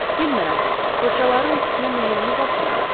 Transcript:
Bilmirəm, fırçaların üstünə möhürümü basmıram.